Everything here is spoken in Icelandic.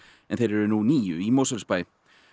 en þeir eru nú níu í Mosfellsbæ